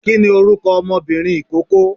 kìíni orúkọ ọmọbìnrin ikoko?